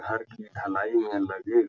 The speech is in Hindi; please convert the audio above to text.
घर की ढलाई में लगे --